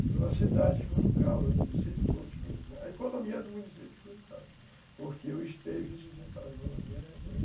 Então, a cidade ficou no caos, o município todo ficou no caos, a economia do município ficou no caos, porque o esteio que sustentava a economia era eu.